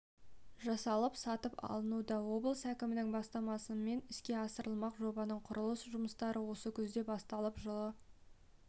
жасалып сатып алынуда облыс әкімінің бастамасымен іске асырылмақ жобаның құрылыс жұмыстары осы күзде басталып жылы